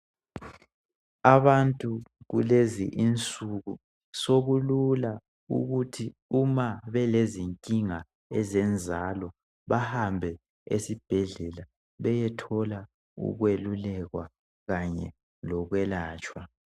Abantu kulezinsuku sekulula ukuthi nxa belezinkinga zenzalo bahambe esibhedlela beyethola ukukweluleka kanye ukwelatshwa .